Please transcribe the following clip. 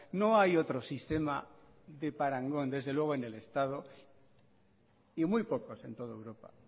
no hay otro sistema de parangón desde luego en el estado y muy pocos en toda europa